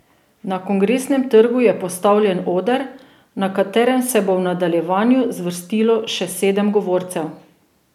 Na Kongresnem trgu je postavljen oder, na katerem se bo v nadaljevanju zvrstilo še sedem govorcev.